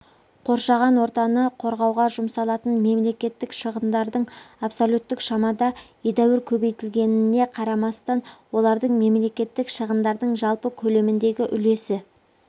қоршаған ортаны қорғауға жұмсалатын мемлекеттік шығындардың абсолюттік шамада едәуір көбейтілгеніне қарамастан олардың мемлекеттік шығындардың жалпы көлеміндегі үлесі